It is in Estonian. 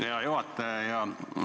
Hea juhataja!